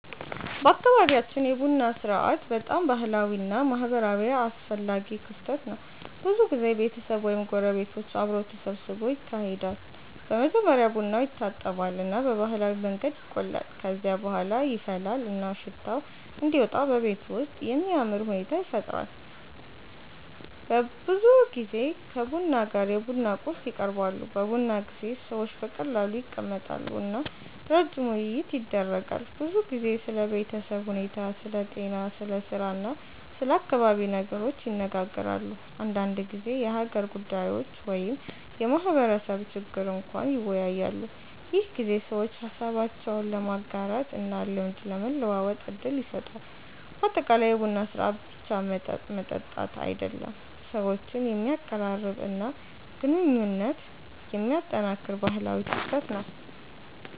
በአካባቢያችን የቡና ሥርዓት በጣም ባህላዊ እና ማህበራዊ አስፈላጊ ክስተት ነው። ብዙ ጊዜ ቤተሰብ ወይም ጎረቤቶች አብረው ተሰብስበው ይካሄዳል። በመጀመሪያ ቡናው ይታጠባል እና በባህላዊ መንገድ ይቆላል። ከዚያ በኋላ ይፈላል እና ሽታው እንዲወጣ በቤቱ ውስጥ የሚያምር ሁኔታ ይፈጠራል። ብዙ ጊዜ ከቡና ጋር የቡና ቁርስ ይቀርባሉ። በቡና ጊዜ ሰዎች በቀላሉ ይቀመጣሉ እና ረጅም ውይይት ይደረጋል። ብዙ ጊዜ ስለ ቤተሰብ ሁኔታ፣ ስለ ጤና፣ ስለ ስራ እና ስለ አካባቢ ነገሮች ይነጋገራሉ። አንዳንድ ጊዜ የሀገር ጉዳዮች ወይም የማህበረሰብ ችግር እንኳን ይወያያሉ። ይህ ጊዜ ሰዎች ሀሳባቸውን ለመጋራት እና ልምድ ለመለዋወጥ እድል ይሰጣል። በአጠቃላይ የቡና ሥርዓት ብቻ መጠጥ መጠጣት አይደለም፣ ሰዎችን የሚያቀራርብ እና ግንኙነት የሚያጠናክር ባህላዊ ክስተት ነው።